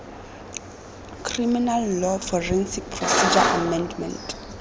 criminal law forensic procedure amendment